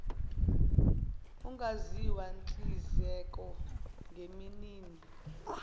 ungaziwa hlinzeka ngeminin